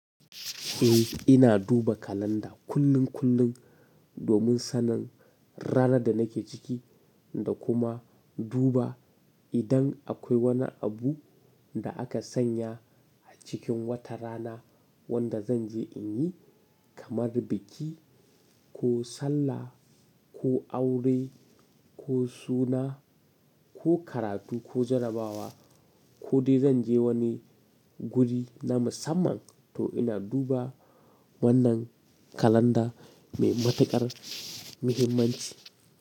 Eh, ina duba kalanda kullum kullum domin sanin ranar da nake ciki da kuma duba idan akwai wani abu da aka sanya a cikin wata rana wanda zan je in yi kamar biki ko sallah ko aure ko suna ko karatu ko jarabawa ko dai zan je wani guri na musamman to ina duba wannan kalanda mai matukar muhimmanci.